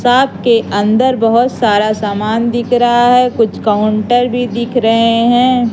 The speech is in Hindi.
सात के अंदर बहुत सारा समान दिख रहा है कुछ काउंटर भी दिख रहे हैं।